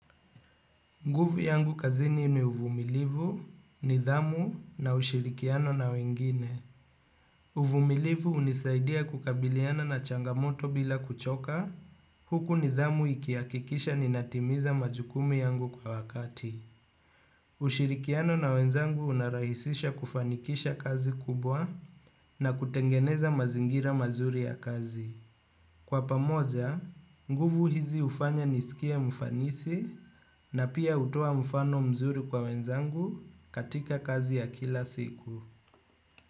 Nguvu yangu kazini ni uvumilivu, nidhamu na ushirikiano na wengine. Uvumilivu hunisaidia kukabiliana na changamoto bila kuchoka, huku nidhamu ikihakikisha ninatimiza majukumu yangu kwa wakati. Ushirikiano na wenzangu unarahisisha kufanikisha kazi kubwa na kutengeneza mazingira mazuri ya kazi. Kwa pamoja, nguvu hizi hufanya nisikie mfanisi na pia hutoa mfano mzuri kwa wenzangu katika kazi ya kila siku.